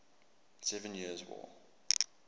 seven years war